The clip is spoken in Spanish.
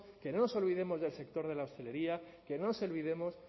que no nos olvidemos del sector de la hostelería que no nos olvidemos